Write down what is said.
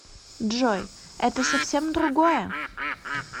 джой это совсем другое